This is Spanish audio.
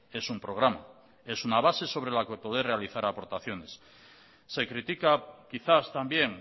es un programa es una base sobre la que poder realizar aportaciones se critica quizás también